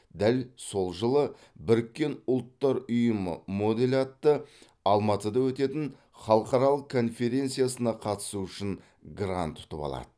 дәл сол жылы біріккен ұлттар ұйымының моделі атты алматыда өтетін халқаралық конференциясына қатысу үшін грант ұтып алады